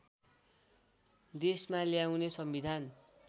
देशमा ल्याउने संविधान